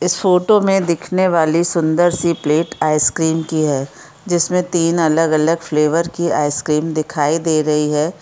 इस फोटो में दिखने वाली सुन्दर सी प्लेट आइसक्रीम की है जिसमें तीन अलग-अलग फ्लेवर की आइसक्रीम दिखाई दे रही ह है।